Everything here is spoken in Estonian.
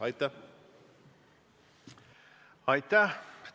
Aitäh!